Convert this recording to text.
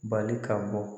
Bali ka bɔ